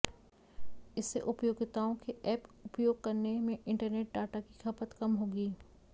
इससे उपयोक्ताओं के एप उपयोग करने में इंटरनेट डाटा की खपत कम होगी